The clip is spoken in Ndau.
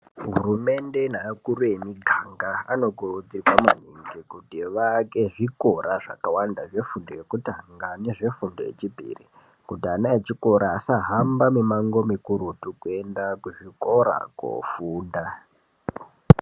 Hurumende ne akuru emiganga anokurudzirwa maningi kuti vaake zvikora zvakawanda zve fundo yekutanga ne zvefundo yechipiri kuti ana echikora asahamba mi mango mikurutu kuenda ku zvikora kofunda.